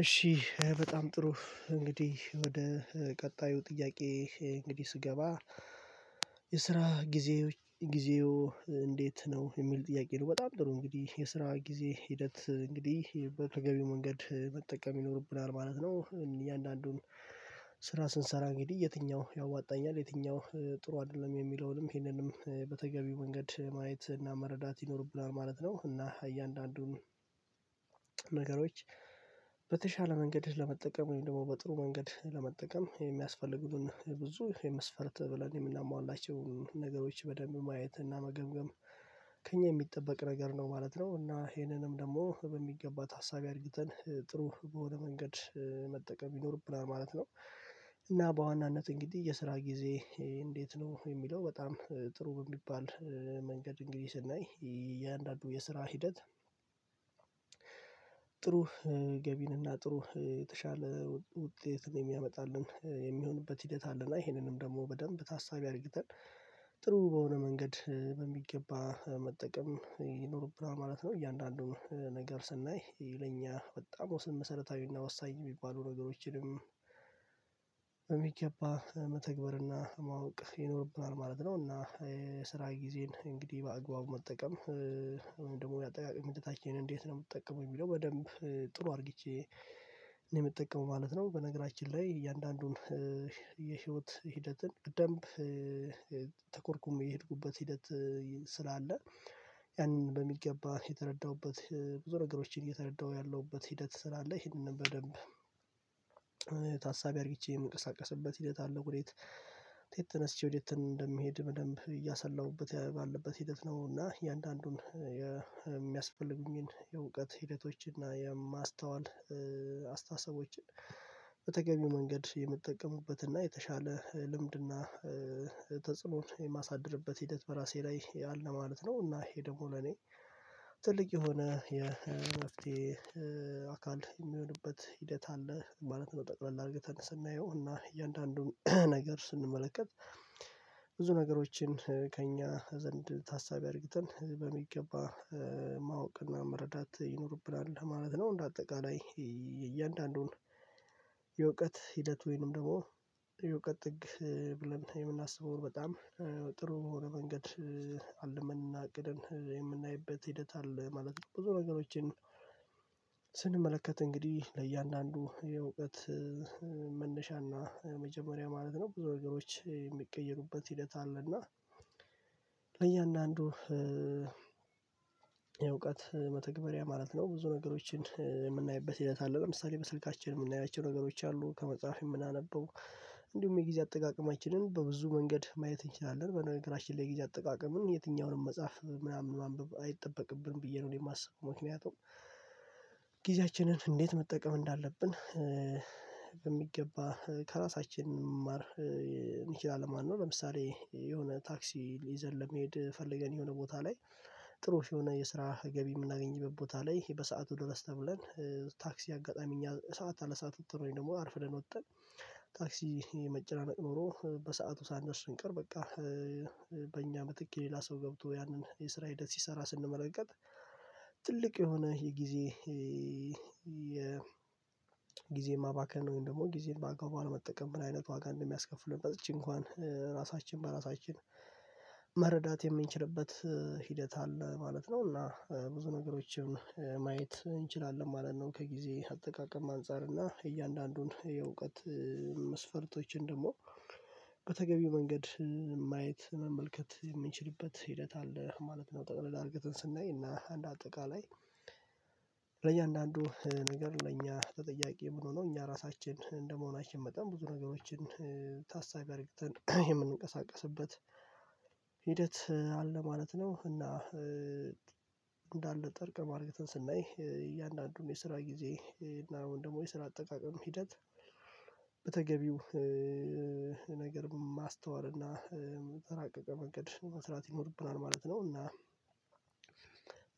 እሺ በጣም ጥሩ እንግዲህ ወደ ቀጣዩ ጥያቄ እንግዲህ ስገባ የስራ ጊዜ ጊዜው እንዴት ነው የሚል ጥያቄ ነው? በጣም ደስ ይለኛል እንግዲህ የስራ ጊዜ ሂደት እንግዲህ በተገቢው መንገድ መጠቀም ይኖርብናል ማለት ነው። እያንዳንዱን ስራ ስንሰራ ግድ የትኛው ያዋጣኛል የትኛው ጥሩ አይደለም የሚለውንም ይህንንም በተገቢው መንገድ ማየት እና መረዳት ይኖርብናል ማለት ነው። እና እያንዳንዱን ነገሮች በተሻለ መንገድህ ለመጠቀም ወይም ደግሞ በጥሩ መንገድህ ለመጠቀም የሚያስፈልጉትን ብዙ የመስፈርት ብለን የምናሟላቸው ነገሮች በደንብ ማየት እና መገምገም ከእኛ የሚጠበቅ ነገር ነው ማለት ነው። እና ይሄንንም ደግሞ በሚገባት ታሳቢ አርግተን ጥሩ በሆነ መንገድ መጠቀም ይኖርብናል ማለት ነው። እና በዋናነት እንግዲህ የስራ ጊዜ እንዴት ነው የሚለው በጣም ጥሩ በሚባል መንገድ እንግዲህ ስናይ የአንዳንዱ የስራ ሂደት ጥሩ ገቢንና ጥሩ የተሻለ ውጤትን የሚያመጣልን የሚሆንበት ሂደት አለና ይሄንንም ደግሞ በደንብ ታሳቢ አርጊተን ጥሩ በሆነ መንገድ በሚገባ መጠቀም ይኖርብናል ማለት ነው። እያንዳንዱን ስናይ ይለኛ በጣም ስንት መሰረታዊና ወሳኝ የሚባሉ ነገሮችንም የሚገባ መተግበርና ማወቅ ይኖርብናል ማለት ነው። እና የስራ ጊዜን እንግዲህ በአግባቡ መጠቀም ደግሞ የአጠቃቀሚ ምትታችንን እንዴት ነው የምትጠቀመው የሚለው በደንብ ጥሩ አርጌቼ እኔ የምጠቀመው ማለት ነው። በነገራችን ላይ እያንዳንዱን የህይወት ሂደትን ደንብ የሄድኩበት ሂደት ስላለ ያንን በሚገባ የተረዳሁበት ብዙ ነገሮችን እየተረዳሁ ያለሁበት ሂደት ስራ አለ ይሄንን በደንብ ታሳቢ አርጊቼ የምንቀሳቀስበት ሂደት አለ። ወዴት ቴት ተነስቼ ቴት እንደምሄድ በደንብ እያሰላሁበት ባለበት ሂደት ነው። እና እያንዳንዱን የእውቀት ሂደቶችን እና የማስተዋል አስተሳሰቦችን በተገቢው መንገድ የምትጠቀሙበት እና የተሻለ ልምድና ተጽዕኖ የማሳድርበት ሂደት በራሴ ላይ ያለ ማለት ነው። እና ይሄ ደግሞ ለኔ ትልቅ የሆነ የመፍትሄ አካል የሚሆንበት ሂደት አለ ማለት ነው። ጠቅለል አድርገን ስናየው እና እያንዳንዱን ነገር ስንመለከት ብዙ ነገሮችን ከእኛ ዘንድ ታሳቢ አርጊተን በሚገባ ማወቅና መረዳት ይኖርብናል ማለት ነው። እንደ አጠቃላይ እያንዳንዱን የእውቀት ሂደት ወይንም ደግሞ የእውቀት ጥግ ብለን የምናስበውን በጣም ጥሩ የሆነ መንገድ አልመንና አቅደን የምናይበት ሂደት አለ ማለት ነው። ብዙ ነገሮችን ስንመለከት እንግዲህ ለእያንዳንዱ የእውቀት መነሻና መጀመሪያ ማለት ነው ብዙ ነገሮች የሚቀየሩበት ሂደት አለ እና እያንዳንዱ የእውቀት መተግበሪያ ማለት ነው። ብዙ ነገሮችን የምናይበት ይላል አለው አምስተኛ በስልካችን የምናያቸው ነገሮች አሉ ከመጽሐፌ የምናነበው እንዲሁም የጊዜ አጠቃቀማችንን በብዙ መንገድ ማየት እንችላለን በነገራችን ላይ የጊዜ አጠቃቀምን የትኛውንም መጽሐፍ ምናምን ማንበብ አይጠበቅብንም ብዬ ነው። እኔ የማስበው ሞት የሚያውቀው ጊዜያችንን እንዴት መጠቀም እንዳለብን የሚገባ ከራሳችን መማር እንችላለን። ማንነው ለምሳሌ የሆነ ታክሲ ይዘን ለሚሄድ ፈልገን የሆነ ቦታ ላይ ጥሩ የሆነ የስራ ገቢ የምናገኝበት ቦታ ላይ ይሄ በሰአቱ ድረስ ተብለን ታክሲ አጋጣሚ ሰዓት አለ ሰዓት ወጥተን ወይ ደግሞ አርፍረን ወጥተን ታክሲ መጨናነቅ ኖሮ በሰአቱ ሳንደርስ እንቀር በቃ በእኛ ምትክ ሌላ ሰው ገብቶ ያንን የስራ ሂደት ሲሰራ ስንመለከት ትልቅ የሆነ የጊዜ ማባከን ነው ወይም ደግሞ ጊዜን ማጋባባት መጠቀም ምን አይነት ዋጋ እንደሚያስከፍልን በዝቼ እንኳን ራሳችን በራሳችን መረዳት የምንችልበት ሂደት አለ ማለት ነው። እና ብዙ ነገሮችን ማየት እንችላለን ማለት ነው። ከጊዜ አጠቃቀም አንፃር እና እያንዳንዱን የእውቀት መስፈርቶችን ደግሞ በተገቢው መንገድ ማየት መመልከት የምንችልበት ሂደት አለ ማለት ነው። ጠቅለላ እርግተን ስናይ እና አንድ አጠቃላይ ለእያንዳንዱ ነገር ለእኛ ተጠያቂ መሆኑ ነው እኛ ራሳችን እንደመሆናችን መጠን ብዙ ነገሮችን ታሳቢ አድርግተን የምንንቀሳቀስበት ሂደት አለ ማለት ነው። እና እንዳ ጠርቅም ማርገትን ስናይ እያንዳንዱን የስራ ጊዜ እና አሁን ደግሞ የስራ አጠቃቀም ሂደት በተገቢው ነገር ማስተዋል እና በተራቀቀው መንገድ መስራት ይኖርብናል ማለት ነው። እና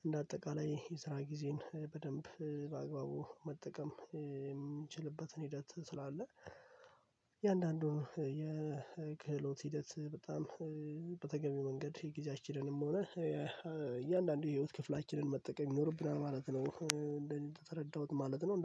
እንደ አጠቃላይ የስራ ጊዜን በደንብ በአግባቡ መጠቀም የሚችልበትን ሂደት ስላለ የአንዳንዱን የክህሎት ሂደት በጣም በተገቢው መንገድ የጊዜያችንንም ሆነ እያንዳንዱ የህይወት ክፍላችንን መጠቀም ኖሮብናል ማለት ነው። እንደተረዳሁት ማለት ነው